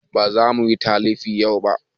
Ba za muyi talifi yau ba